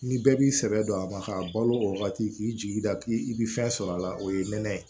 Ni bɛɛ b'i sɛbɛ don a ma k'a balo o wagati k'i jigi da k'i bi fɛn sɔrɔ a la o ye nɛnɛ ye